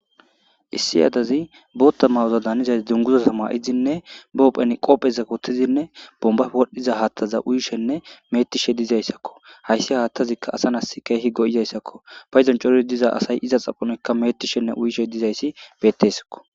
Issi yaadazi bootta mawoza daanizazi dunguza sama7izinne bopphen qoppheza kottizinne bomba wodhdhiza haattaza uyishenne metishe dizayssakko hayssi haattazikka asa nas keehi go7izayssakko fa izan cor diza asay iza xaphanoykka metishenne uyishe dizayssi bettessakko.